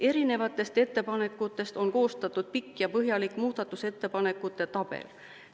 Erinevatest ettepanekutest on koostatud pikk ja põhjalik muudatusettepanekute tabel.